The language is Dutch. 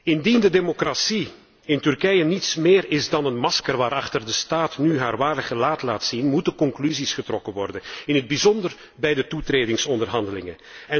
Indien de democratie in Turkije niets meer is dan een masker, en de staat nu haar ware gelaat laat zien, moeten er conclusies getrokken worden, in het bijzonder voor de toetredingsonderhandelingen.